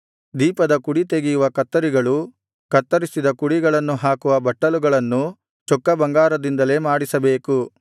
ದೀಪದ ಕುಡಿತೆಗೆಯುವ ಕತ್ತರಿಗಳೂ ಕತ್ತರಿಸಿದ ಕುಡಿಗಳನ್ನು ಹಾಕುವ ಬಟ್ಟಲುಗಳನ್ನೂ ಚೊಕ್ಕ ಬಂಗಾರದಿಂದಲೇ ಮಾಡಿಸಬೇಕು